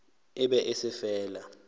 e be e se fela